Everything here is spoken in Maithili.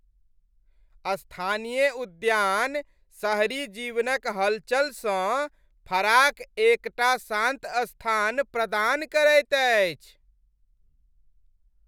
स्थानीय उद्यान शहरी जीवनक हलचलसँ फराक एकटा शान्त स्थान प्रदान करैत अछि।